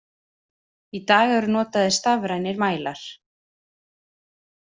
Í dag eru notaðir stafrænir mælar.